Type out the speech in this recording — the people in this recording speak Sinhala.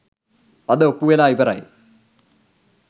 අද ඔප්පු වෙලා ඉවරයි.